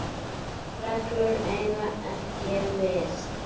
reglur eiga ekki við.